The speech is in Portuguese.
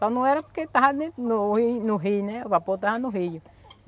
Só não era porque estava dentro no rio no rio, né, o vapor estava no rio.